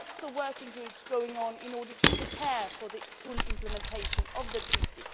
There are lots of working groups going on in order to prepare for the full implementation of the Treaty.